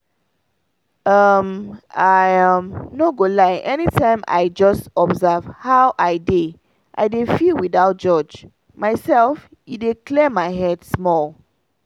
um i um no go lie anytime i just observe how i dey i dey feel without judge myself e dey clear my head small.